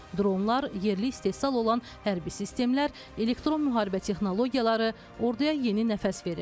Dronlar, yerli istehsal olan hərbi sistemlər, elektron müharibə texnologiyaları orduya yeni nəfəs verir.